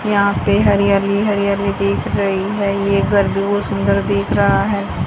यहाँ पे हरियाली हरियाली दिख रहीं हैं ये घर भी बहुत सुंदर दिख रहा हैं।